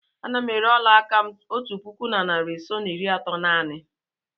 Ana m ere ọla aka m otu puku na narị ise na iri atọ naanị.